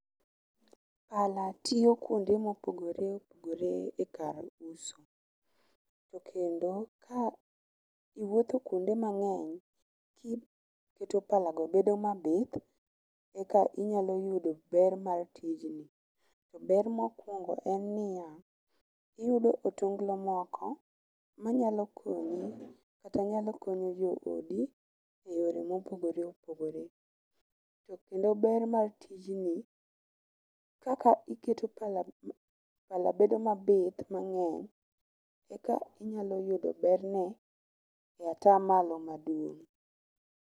Pala tiyo kuonde mopogore opogore e kar uso to kendo ka iwuotho kuonde mang'eny, jii keto pala go bedo mabith e kinyalo yudo ber mar tijni. To ber mokwongo en niya iyudo otonglo moko manyalo konyi kata nyalo konyo jo odi e yore mopogore opogore. To kendo bar mar tijni kaka iketo pala pala bedo mabith mang'eny eka inyalo yudo berne atamalo maduong'.